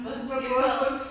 Havde hun fået en skildpadde?